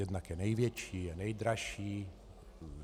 Jednak je největší, je nejdražší.